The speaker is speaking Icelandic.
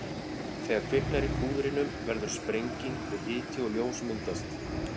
Þegar kviknar í púðrinu verður sprenging og hiti og ljós myndast.